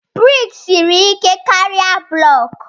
Buloku siri ike karịa ngọngọ.